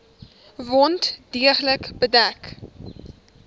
wond deeglik bedek